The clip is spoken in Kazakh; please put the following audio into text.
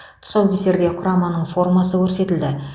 тұсаукесерде құраманың формасы көрсетілді